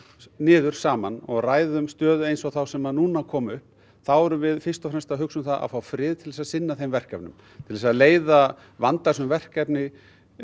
niður saman og ræðum stöðu eins og þá sem nú er komin upp þá erum við fyrst og fremst að hugsa um það að fá frið til þess að sinna þeim verkefnum til þess að leiða vandasöm verkefni